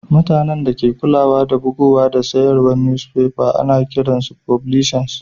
Mutanen da ke kulawa da bugowa da sayarwan nusfefa ana kiran su fublisas.